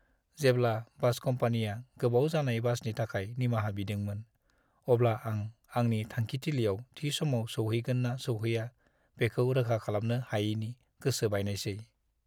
जेब्ला बास कम्पानीया गोबाव जानाय बासनि थाखाय निमाहा बिदोंमोन, अब्ला आं आंनि थांखिथिलियाव थि समाव सौहैगोन ना सौहैआ, बेखौ रोखा खालामनो हायैनि गोसो बायनायसै।